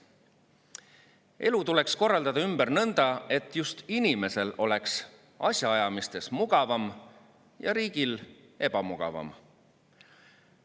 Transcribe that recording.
Elu tuleks korraldada ümber nõnda, et just inimesel oleks asjaajamistes mugavam ja riigil ebamugavam.